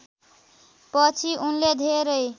पछि उनले धेरै